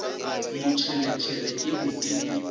motšheletšhele e be e le